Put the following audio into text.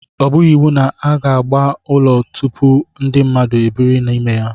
O bughị iwu na agba ụlọ tupu ndị mmadụ ebiri n'ime ya